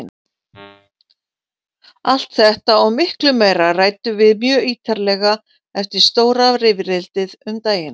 Allt þetta og miklu meira ræddum við mjög ítarlega eftir stóra rifrildið um daginn.